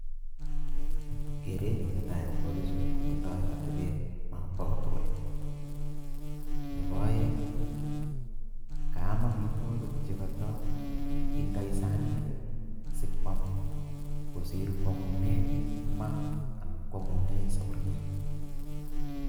Kerenyu netai akobo bichu kotindoi atebet nemobo kotugul. Nebo aeng kaam amitwogik che kataindoi sanit simwam kosir kwomune maa ana mwomunee safuriet.